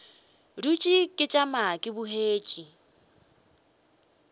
dutše ke tšama ke bogetše